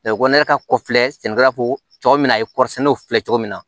ko ne ka kɔfilɛ sɛnɛkɛla ko tɔ mi na ye kɔɔrisɛnɛnaw filɛ cogo min na